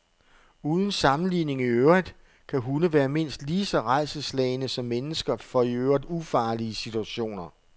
Uden sammenligning i øvrigt kan hunde være mindst lige så rædselsslagne som mennesker for i øvrigt ufarlige situationer.